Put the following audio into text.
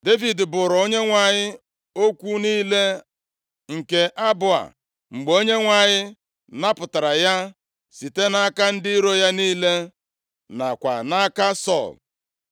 Devid buuru Onyenwe anyị okwu niile nke abụ a mgbe Onyenwe anyị napụtara ya site nʼaka ndị iro ya niile, nakwa nʼaka Sọl.